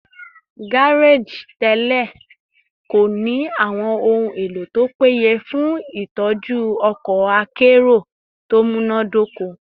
gareji tẹlẹ ko ni awọn ohun elo to peye fun itọju ọkọ akero to munadoko